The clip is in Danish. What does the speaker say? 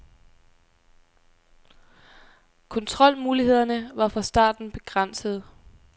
Kontrolmulighederne var fra starten begrænsede.